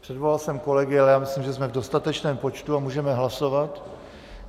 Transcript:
Přivolal jsem kolegy, ale já myslím, že jsme v dostatečném počtu a můžeme hlasovat.